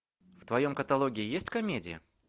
в твоем каталоге есть комедия